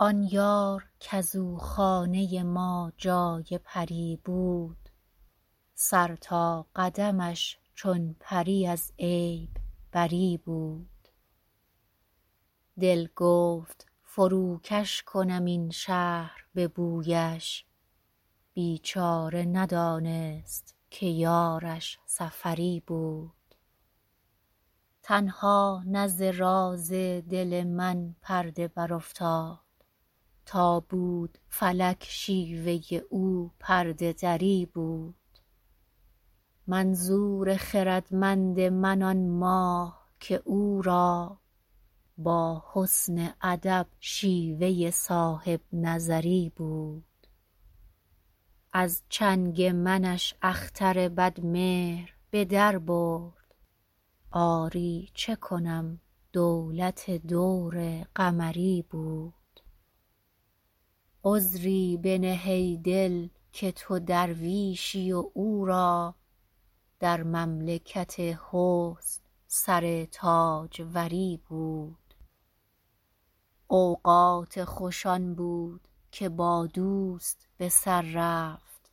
آن یار کز او خانه ما جای پری بود سر تا قدمش چون پری از عیب بری بود دل گفت فروکش کنم این شهر به بویش بیچاره ندانست که یارش سفری بود تنها نه ز راز دل من پرده برافتاد تا بود فلک شیوه او پرده دری بود منظور خردمند من آن ماه که او را با حسن ادب شیوه صاحب نظری بود از چنگ منش اختر بدمهر به در برد آری چه کنم دولت دور قمری بود عذری بنه ای دل که تو درویشی و او را در مملکت حسن سر تاجوری بود اوقات خوش آن بود که با دوست به سر رفت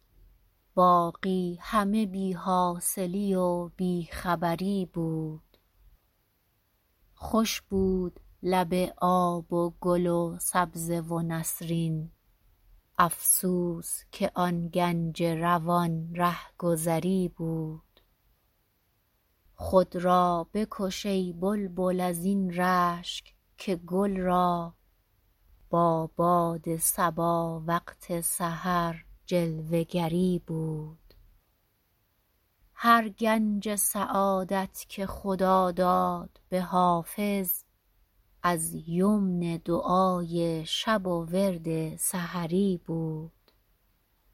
باقی همه بی حاصلی و بی خبری بود خوش بود لب آب و گل و سبزه و نسرین افسوس که آن گنج روان رهگذری بود خود را بکش ای بلبل از این رشک که گل را با باد صبا وقت سحر جلوه گری بود هر گنج سعادت که خدا داد به حافظ از یمن دعای شب و ورد سحری بود